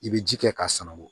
I bɛ ji kɛ k'a sama o